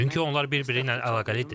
Çünki onlar bir-biri ilə əlaqəlidir.